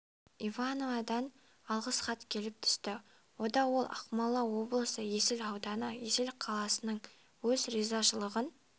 ивановнадан алғыс хат келіп түсті онда ол ақмола облысы есіл ауданы есіл қаласының өз ризашылығын